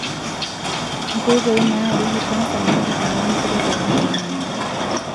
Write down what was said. Nkoitoi naarieki kansa natijing'a nkiri pookin naamanita.